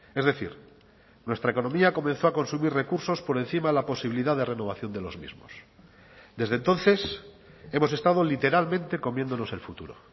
es decir nuestra economía comenzó a consumir recursos por encima de la posibilidad de renovación de los mismos desde entonces hemos estado literalmente comiéndonos el futuro